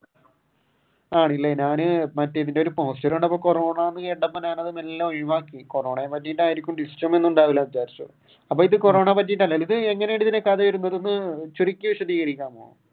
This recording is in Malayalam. ആണല്ലേ ഞാൻ മറ്റേ ഇതിന്റെ ഒരു പോസ്റ്റർ കണ്ടപ്പോൾ കൊറോണ കോറോണയെ പറ്റിയിട്ട് അപ്പൊ ഇത് കോറോണയെ പറ്റിയിട്ട് അല്ലല്ലേ. ഇത് എങ്ങനെയാണ് ഇതിന്റെ കഥ ഇടുന്നത് ഒന്ന് ചുരുക്കി വിശധികരിക്കാമോ?